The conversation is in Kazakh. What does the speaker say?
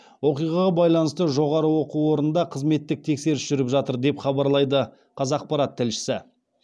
оқиғаға байланысты жоғары оқу орнында қызметтік тексеріс жүріп жатыр деп хабарлайды қазақпарат тілшісі